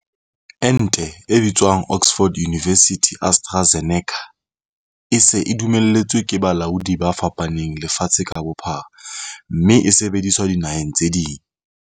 Ente e bitswang Oxford University-AstraZeneca e se e dumelletswe ke balaodi ba fapaneng lefatshe ka bophara mme e se e sebediswa dinaheng tse ding.